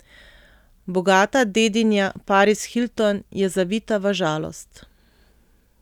Bogata dedinja Paris Hilton je zavita v žalost.